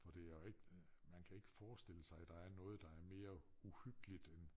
For det er ikke man kan ikke forestille sig at der er noget der er mere uhyggeligt end